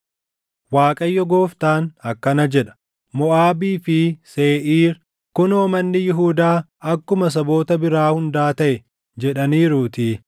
“ Waaqayyo Gooftaan akkana jedha: ‘Moʼaabii fi Seeʼiir, “Kunoo manni Yihuudaa akkuma saboota biraa hundaa taʼe” jedhaniiruutii;